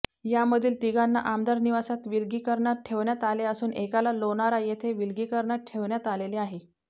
यामधील तिघांना आमदार निवासात विलगीकरणात ठेवण्यात आले असून एकाला लोणारा येथे विलगीकरणात ठेवण्यात आलेले आहे